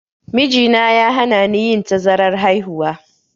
Mijina ya hanani yin tazarar haihuwa.